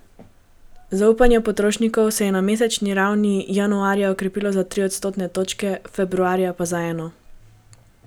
Zaupanje potrošnikov se je na mesečni ravni januarja okrepilo za tri odstotne točke, februarja pa za eno.